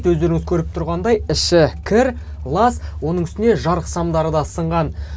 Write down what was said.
өздеріңіз көріп тұрғандай іші кір лас оның үстіне жарық самдары да сынған